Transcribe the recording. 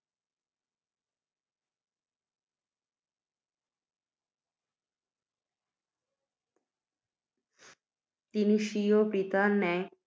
তিনি, স্বীয় পিতার ন্যায়,